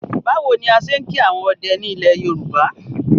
Báwo ni a ṣe ń kí àwọn ọdẹ ni ilẹ̀ Yorùbá?